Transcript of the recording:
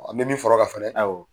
An bɛ min fɔra o kan fana awƆ